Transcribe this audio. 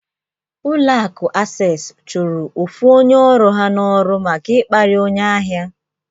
Ụlọ akụ Asess chụrụ ofu onye ọrụ ha n'ọrụ maka ịkparị onye ahịa.